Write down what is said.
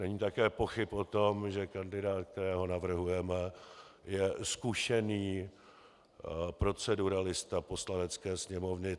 Není také pochyb o tom, že kandidát, kterého navrhujeme, je zkušený proceduralista Poslanecké sněmovny.